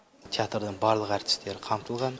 театрдың барлық әртістері қамтылған